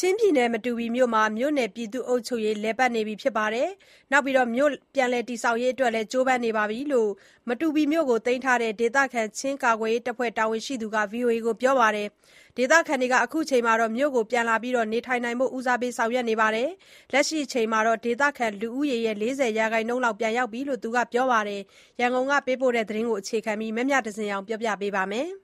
ချင်းပြည်နယ်၊ မတူပီမြို့နယ်မှာ မြို့နယ် ပြည်သူ့အုပ်ချုပ်ရေး လည်ပတ်နေပြီး ပြန်လည်တည်ဆောက်ရေးအတွက် ကြိုးပမ်းနေတယ်လို့ မတူပီမြို့ကို သိမ်းထားတဲ့ ဒေသခံ ချင်းကာကွယ်ရေးတပ်ဖွဲ့ တာဝန်ရှိသူ တဦးက ဗွီအိုအေကို ပြောပါတယ်။ ဒေသခံတွေ မြို့ကို ပြန်လာပြီး နေထိုင်နိုင်ဖို့ ဦးစားပေးဆောင်ရွက်နေပြီး၊ လက်ရှိအချိန်မှာ ဒေသခံ လူဦးရေရဲ့ ၄၀ ရာခိုင်နှုန်းလောက်တော့ ပြန်ရောက်လာပြီလို့ သူကပြောပါတယ်။ ရန်ကုန်ကပေးပို့တဲ့သတင်းကို အခြေခံပြီး တင်ပြထားပါတယ်။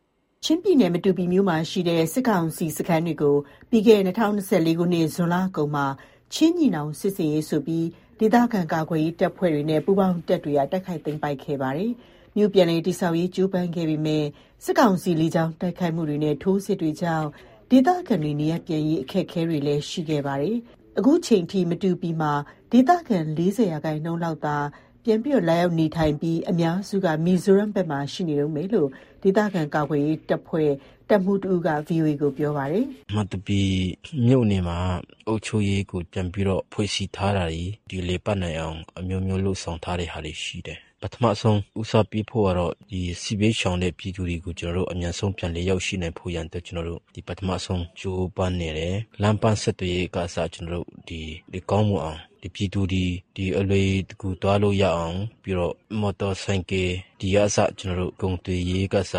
ချင်းပြည်နယ်၊ မတူပီမြို့မှာရှိတဲ့ စစ်ကောင်စီရဲ့စခန်းတွေကို ပြီးခဲ့တဲ့ ၂၀၂၄ ခုနှစ်၊ ဇွန်လကုန်မှာ ချင်းညီနောင်စစ်ဆင်ရေးဆိုပြီး ဒေသခံ ကာကွယ်ရေးတပ်ဖွဲ့တွေနဲ့ ပူးပေါင်းတပ်တွေက တိုက်ခိုက်သိမ်းပိုက်ခဲ့ပါတယ်။ မြို့ပြန်လည် တည်ဆောက်ရေး ကြိုးပမ်းခဲ့ပေမဲ့ စစ်ကောင်စီ လေကြောင်းတိုက်ခိုက်မှုတွေနဲ့ ထိုးစစ်တွေကြောင့် ဒေသခံတွေ နေရပ်ပြန်ရေး အခက်အခဲတွေ ရှိခဲ့ပါတယ်။ အခုချိန်ထိ မတူပီမှာ ဒေသခံ ၄၀ ရာခိုင်နှုန်းလောက်သာ ပြန်ရောက်နေထိုင်ပြီး၊ အများစုက မီဇိုရမ်ဘက်မှာ ရှိနေတုန်းပဲလို့ ဒေသခံကာကွယ်ရေးတပ်ဖွဲ့ တပ်မှူးတယောက်က ဗွီအိုအေကို ပြောပါတယ်။ "မတူပီမြို့နယ်မှာ အုပ်ချုပ်ရေး ပြန်ဖွဲ့စည်းထားတာတွေ လည်ပတ်နိုင်အောင် အမျိုးမျိုးလုပ်ဆောင် ထားတာတွေရှိတယ်။ ပထမဆုံး ဦးစားပေးဖို့ကတော့ စစ်ဘေးရှောင်တဲ့ ပြည်သူတွေ အမြန်ဆုံးပြန်လည် ရောက်ရှိနိုင်ဖို့ရန်အတွက် ပထမဆုံးကြိုးပမ်းနေတယ်။ လမ်းပန်းဆက်သွယ်ရေးကအစ ကောင်းမွန်အောင်၊ ပြည်သူတွေ အလွယ်တကူ သွားလို့ရအောင် မော်တော်ဆိုင်ကယ်တို့၊ ကုန်သွယ်ရေးတို့ကအစ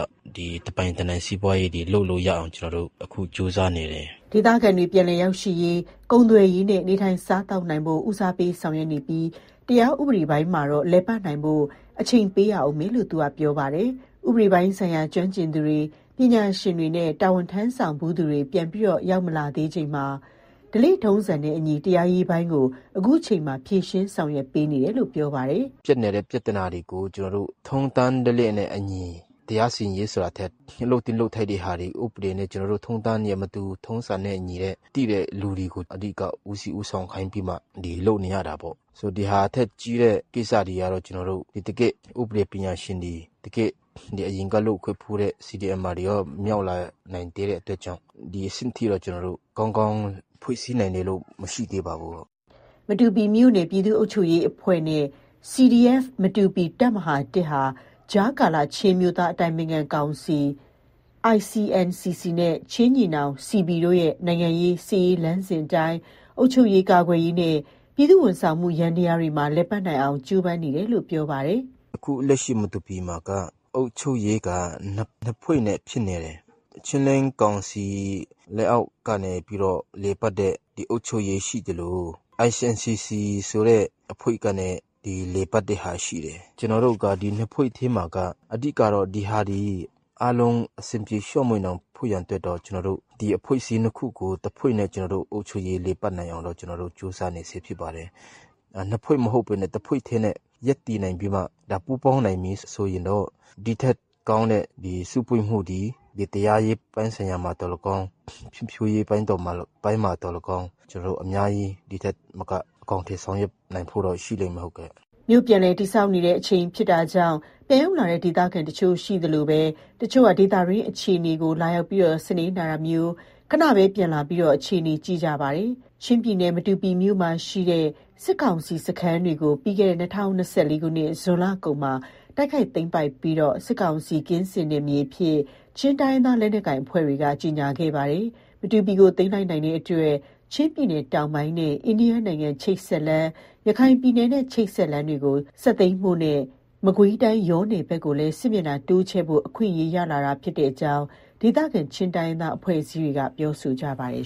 တပိုင်တနိုင်စီးပွားရေးတွေ လုပ်လို့ရအောင် ကျနော်တို့အခု ကြိုးစားနေတယ်။" ဒေသခံတွေ ပြန်လည်ရောက်ရှိရေး၊ ကုန်သွယ်ရေးနဲ့ နေထိုင်စားသောက်နိုင်ဖို့ ဦးစားပေးဆောင်ရွက်နေပြီး၊ တရားဥပဒေပိုင်းမှာတော့ လည်ပတ်နိုင်ဖို့ အချိန်ပေးရဦးမယ်လို့ သူက ပြောပါတယ်။ ဥပဒေပိုင်းဆိုင်ရာ ကျွမ်းကျင်သူတွေ၊ ပညာရှင်တွေနဲ့ တာဝန်ထမ်းဆောင်ဖူးသူတွေ ပြန်မရောက်လာသေးချိန်မှာ ဓလေ့ထုံးစံနဲ့အညီ တရားရေးပိုင်းကို အခုချိန်မှာ ဖြေရှင်းဆောင်ရွက်ပေးနေတယ်လို့ ပြောပါတယ်။ "ဖြစ်နေတဲ့ပြဿနာတွေကို တရားစီရင်ရေးဆိုတာထက် လုပ်သင့်လုပ်ထိုက်တာတွေကို ထုံးတမ်းဓလေ့နဲ့အညီ သိတဲ့သူတွေကို ဦးစီးဦးဆောင်ခိုင်းပြီးမှ လုပ်နေရတာပေါ့။ ဒီဟာထက်ကြီးတဲ့ ကိစ္စတွေကတော့ တကယ့် ဥပဒေပညာရှင်တွေ၊ အရင်ကလုပ်ခဲ့ဖူးတဲ့ CDMers တွေရော မရောက်လာနိုင်သေးတဲ့ အတွက်ကြောင့် ဒီအဆင့်ထိတော့ ကောင်းကောင်းဖွဲ့စည်းနိုင်တယ်လို့ မရှိသေးပါဘူး။" မတူပီမြို့နယ် ပြည်သူ့အုပ်ချုပ်ရေးအဖွဲ့နဲ့ CDF မတူပီ ဟာ ကြားကာလချင်းအမျိုးသား အတိုင်ပင်ခံကောင်စီ နဲ့ ချင်းညီနောင် တို့ရဲ့ နိုင်ငံရေး၊ စစ်ရေးလမ်းစဉ်အတိုင်း အုပ်ချုပ်ရေး၊ ကာကွယ်ရေးနဲ့ ပြည်သူ့ဝန်ဆောင်မှု ယန္တရားတွေမှာ လည်ပတ်နိုင်အောင် ကြိုးပမ်းနေတယ်လို့ ပြောပါတယ်။ "အခုလက်ရှိ မတူပီမှာ အုပ်ချုပ်ရေးက နှစ်ဖွဲ့နဲ့ဖြစ်နေတယ်။ ချင်းလဲန်းကောင်စီ လက်အောက်ကနေ လည်ပတ်တဲ့ အုပ်ချုပ်ရေးရှိသလို၊ ICNCC ဆိုတဲ့ အဖွဲ့ကနေ လည်ပတ်တဲ့ဟာရှိတယ်။ ကျနော်တို့က ဒီနှစ်ဖွဲ့ထဲမှာမှ အဓိကတော့ အားလုံးအဆင်ပြေ ချောမွေ့ဖို့အတွက်တော့ တဖွဲ့နဲ့အုပ်ချုပ်ရေး လည်ပတ်နိုင်အောင်တော့ ကြိုးစားနေဆဲဖြစ်ပါတယ်။ နှစ်ဖွဲ့မဟုတ်ဘဲတဖွဲ့ထဲနဲ့ ရပ်တည်နိုင်ပြီးတော့မှ ပူးပေါင်းနိုင်ပြီဆိုရင်တော့ ဒီထက်ကောင်းတဲ့ စုဖွဲ့မှုသည် တရားရေးဆိုင်ရာမှာသော်၎င်း၊ ဖွံ့ဖြိုးရေးပိုင်းမှာသော်၎င်း၊ ကျနော်တို့ ဒီထက်မက အများကြီး အကောင်အထည်ဖော်နိုင်ဖို့ ရှိလိမ့်မယ်။" မြို့ပြည်လည်တည်ဆောက်နေတဲ့ အချိန်ဖြစ်တာကြောင့် ပြန်ရောက်လာတဲ့ ဒေသခံတချို့ရှိသလိုပဲ တချို့က ဒေသတွင်းအခြေအနေကို လာရောက်စနည်းနာတာမျိုး၊ ခဏ ပြန်လာကြပြီး အခြေအနေကို ကြည့်ကြပါတယ်။ ချင်းပြည်နယ်၊ မတူပီမြို့မှာရှိတဲ့ စစ်ကောင်စီရဲ့စခန်းတွေကို ပြီးခဲ့တဲ့ ၂၀၂၄ ခုနှစ်၊ ဇွန်လကုန်မှာ တိုက်ခိုက်သိမ်းပိုက်ပြီး စစ်ကောင်စီ ကင်းစင်နယ်မြေအဖြစ် ချင်းတိုင်းရင်းသား လက်နက်ကိုင် အဖွဲ့တွေ ကြေညာခဲ့ကြပါတယ်။ မတူပီမြို့ကို သိမ်းလိုက်နိုင်တဲ့အတွက် ချင်းပြည်နယ်တောင်ပိုင်းနဲ့ အိန္ဒိယနိုင်ငံ ချိတ်ဆက်လမ်း၊ ရခိုင်ပြည်နယ်နဲ့ ချိတ်ဆက်တဲ့လမ်းတွေကို ဆက်သိမ်းဖို့နဲ့ မကွေးတိုင်း ယောနယ်ဘက်ကိုလည်း စစ်မျက်နှာတိုးချဲ့ဖို့ အခွင့်အရေးရလာတာ ဖြစ်တဲ့အကြောင်း ဒေသခံ ချင်းတိုင်းရင်းသားအဖွဲ့အစည်းတွေက ပြောဆိုကြပါတယ်